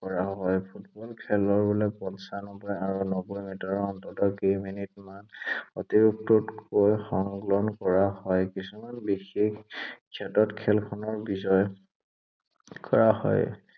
কৰা হয়। ফুটবল খেলৰ পঞ্চানব্বৈ আৰু নব্বৈ মিটাৰৰ অন্তত কেইমিনিটত মান অতিৰিক্তকৈ সংলগ্ন কৰা হয়। কিছুমান বিশেষ ক্ষেত্ৰত খেলখনৰ বিজয় কৰা হয়।